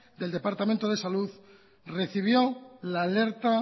del departamento de salud recibió la alerta